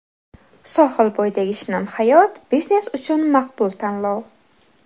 Sohil bo‘yidagi shinam hayot: biznes uchun maqbul tanlov!.